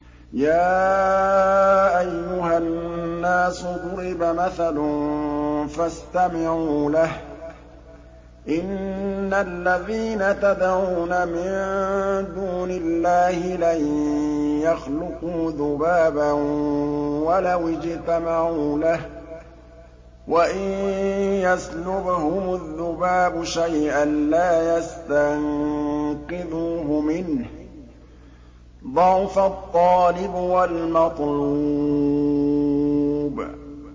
يَا أَيُّهَا النَّاسُ ضُرِبَ مَثَلٌ فَاسْتَمِعُوا لَهُ ۚ إِنَّ الَّذِينَ تَدْعُونَ مِن دُونِ اللَّهِ لَن يَخْلُقُوا ذُبَابًا وَلَوِ اجْتَمَعُوا لَهُ ۖ وَإِن يَسْلُبْهُمُ الذُّبَابُ شَيْئًا لَّا يَسْتَنقِذُوهُ مِنْهُ ۚ ضَعُفَ الطَّالِبُ وَالْمَطْلُوبُ